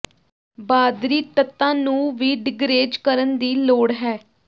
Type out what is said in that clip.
ਬਾਦਰੀ ਤੱਤਾਂ ਨੂੰ ਵੀ ਡਿਗਰੇਜ਼ ਕਰਨ ਦੀ ਲੋੜ ਹੈ